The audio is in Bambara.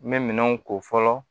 N bɛ minɛnw ko fɔlɔ